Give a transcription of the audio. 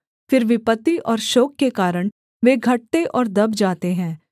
फिर विपत्ति और शोक के कारण वे घटते और दब जाते हैं